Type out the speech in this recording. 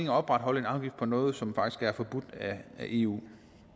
at opretholde en afgift på noget som faktisk er forbudt af eu